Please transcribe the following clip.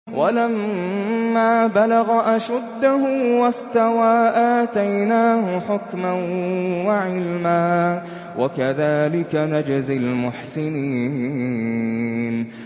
وَلَمَّا بَلَغَ أَشُدَّهُ وَاسْتَوَىٰ آتَيْنَاهُ حُكْمًا وَعِلْمًا ۚ وَكَذَٰلِكَ نَجْزِي الْمُحْسِنِينَ